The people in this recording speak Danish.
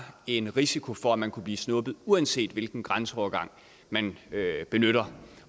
en risiko for at man kunne blive snuppet uanset hvilken grænseovergang man benyttede